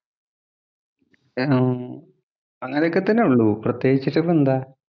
അങ്ങനെയൊക്കെ തന്നെ ഒള്ളൂ. പ്രത്യേകിച്ചിട്ടു ഇപ്പം എന്താ?